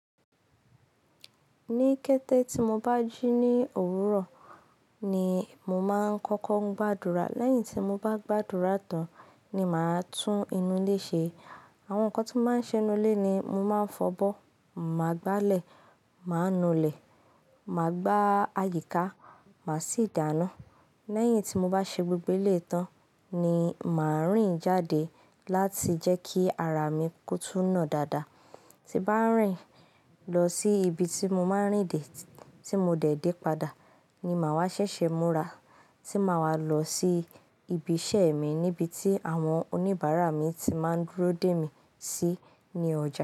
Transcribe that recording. Ní kété tí mo bá jù ní òwúrọ̀ ni mo máa ń kọ́kọ́ gbàdúrà. Lẹ́yìn tí mo bá gbàdúrà tán ni màá tún inú ilé ṣe. Àwọn nǹkan tí mo máa ń ṣe inú ilé ni mo máa fọ̀bọ́, màá gba ilẹ̀, màá nu ilẹ̀, màá gbá àyíká, màá sì dáná. Lẹ́yìn tí mo bá ṣe gbogbo eleyii tán ni màá rìn jáde láti jẹ́ kí ara mi kó tún nà dáadáa. Ti bá rìn lọ sí ibi tí mo máa ń rìn dé tí mo dẹ̀ dé padà ni màá wá ṣẹ̀ṣẹ̀ múra tí màá wá lọ sí ibi iṣẹ́ mi níbi tí àwọn oníbàárà mi ti máa dúró dè mí sí ní ọjà.